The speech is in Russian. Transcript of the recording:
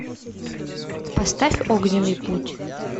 поставь огненный путь